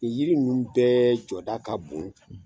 Nin yiri ninnu bɛɛ jɔda ka bon.